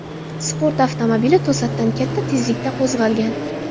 Sport avtomobili to‘satdan katta tezlikda qo‘zg‘algan.